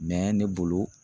Mɛ ne bolo